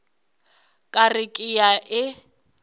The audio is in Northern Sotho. ka re ke a e